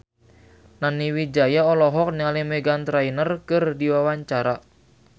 Nani Wijaya olohok ningali Meghan Trainor keur diwawancara